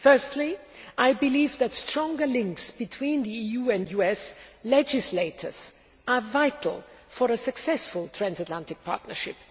Firstly, I believe that stronger links between the EU and US legislators are vital for a successful transatlantic partnership.